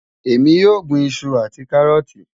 Ẹ̀mi yóò gbìn ìṣù àti kárọ́ọ̀tì.